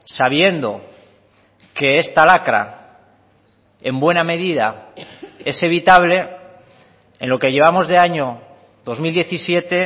sabiendo que esta lacra en buena medida es evitable en lo que llevamos de año dos mil diecisiete